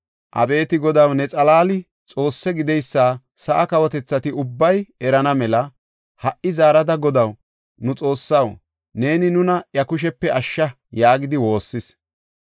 Abeeti Godaw, ne xalaali Xoosse gideysa sa7aa kawotethati ubbay erana mela, ha77i zaarada, Godaw, nu Xoossaw, neeni nuna iya kushepe ashsha” yaagidi woossis.